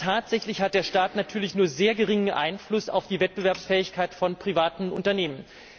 Aber tatsächlich hat der Staat natürlich nur einen sehr geringen Einfluss auf die Wettbewerbsfähigkeit von privaten Unternehmen.